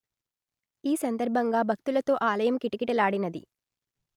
ఈ సందర్భంగా భక్తులతో ఆలయం కిటకిటలాడినది